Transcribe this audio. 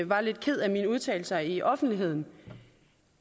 var lidt ked af mine udtalelser i offentligheden